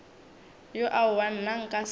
ya aowa nna nka se